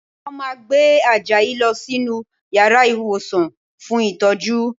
Wọ́n máa gbé Àjàyí lọ sínú yàrá ìwòsàn fún ìtọ́jú